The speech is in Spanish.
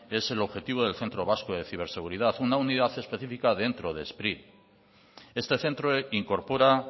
es el objetivo del centro vasco de ciberseguridad una unidad específica dentro de spri este centro incorpora